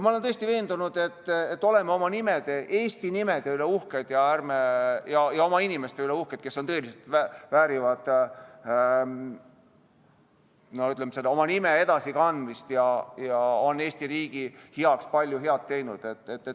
Ma olen täiesti veendunud, et me oleme oma nimede, eesti nimede üle uhked ja oma inimeste üle uhked, kelle nimed tõeliselt väärivad, ütleme, edasikandmist ja kes on Eesti riigi heaks palju head teinud.